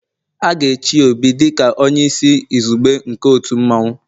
A ga-echi Obi dị ka onye isi izugbe nke otu mmanwu